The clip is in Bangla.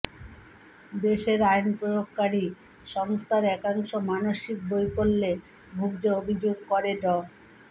দেশের আইনপ্রয়োগকারী সংস্থার একাংশ মানসিক বৈকল্যে ভুগছে অভিযোগ করে ড